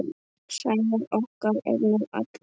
Sævar okkar er nú allur.